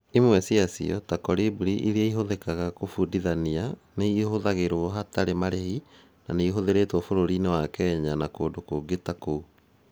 Imwe cia cio, ta Kolibri ĩrĩa ĩhũthĩkaga kũbundithania, nĩ ihũthagĩrũo hatarĩ marĩhi na nĩ ithuthurĩtwo bũrũri-inĩ wa Kenya na kũndũ kũngĩ ta kũu.